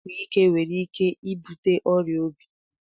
Inyu ogwu ike nwere ike ibute oya obi.